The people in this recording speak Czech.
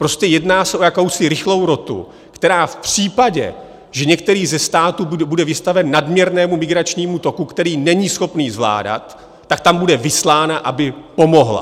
Prostě jedná se o jakousi rychlou rotu, která v případě, že některý ze států bude vystaven nadměrnému migračnímu toku, který není schopný zvládat, tak tam bude vyslána, aby pomohla.